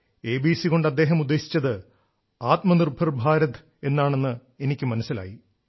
ABC കൊണ്ട് അദ്ദേഹം ഉദ്ദേശിച്ചത് ആത്മനിർഭർ ഭാരത് എന്നാണെന്ന് എനിക്കു മനസ്സിലായി